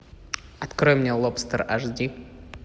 открой мне лобстер аш ди